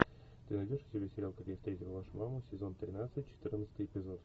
ты найдешь у себя сериал как я встретил вашу маму сезон тринадцать четырнадцатый эпизод